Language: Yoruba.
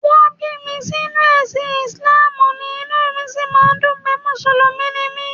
Wọ́n bí mi sínú ẹ̀sìn Ìsìláàmù ni, inú mi sì máa ń dùn pé Mùsùlùmí ni mí